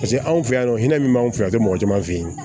Paseke anw fɛ yan nɔ hinɛ min b'an fɛ yan mɔgɔ caman fɛ yen